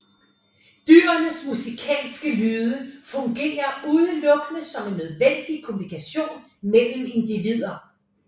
Dyrenes musikalske lyde fungerer udelukkende som en nødvendig kommunikation mellem individer